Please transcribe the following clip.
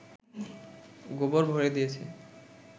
গোবর ভরে দিয়েছে